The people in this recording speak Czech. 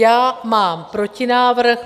Já mám protinávrh.